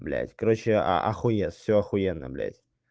блядь короче охуеть всё ахуенно блядь